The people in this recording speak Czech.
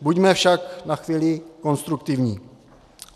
Buďme však na chvíli konstruktivní.